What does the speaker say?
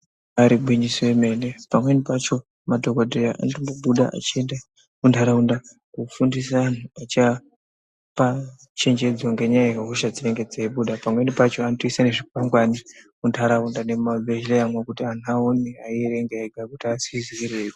Ibari gwinyiso remene, pamweni pacho madhokodheya anobuda einda munharaunda kofundiso anhu eichiapa chechedzo ngenyaya yehosha dzinenge dzeibuda pamweni pacho anotoisa nezvikwangani munharaunda nemuzvi bhehleramwo kuti aone ega eizvierengera.